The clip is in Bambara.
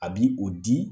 A bi o di